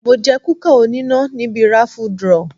Mo jẹ kúkà oníná níbi raffle draw.